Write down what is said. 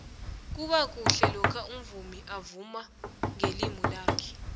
kubakuhle lokha umvumi avuma ngelimi lakhe